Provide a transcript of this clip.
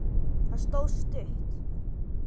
Það stóð stutt.